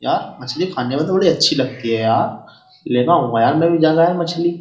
यार मछली खाने में तो बड़ी अच्छी लगती है यार लेगाऊंगा यार मैं भी ज्यादा है मछली।